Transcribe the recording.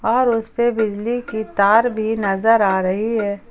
और उसपे बिजली की तार भी नजर आ रही है।